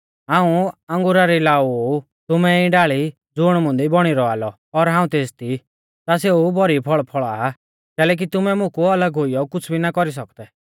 हाऊं अंगुरा री लाऊ ऊ तुमैं ई डाल़ी ज़ुण मुंदी बौणी रौआ लौ और हाऊं तेसदी ता सेऊ भौरी फौल़ फौल़ा आ कैलैकि तुमैं मुकु अलग हुइयौ कुछ़ भी ना कौरी सौकदै